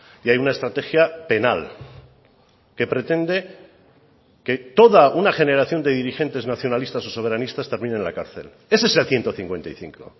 y hay una estrategia penal que pretende que toda una generación de dirigentes nacionalistas o soberanistas termine en la cárcel ese es el ciento cincuenta y cinco